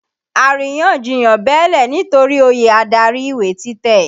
Àrínyànjiyàn bẹ́ẹ́lẹ̀ nitori oyè adarí ìwé títẹ̀.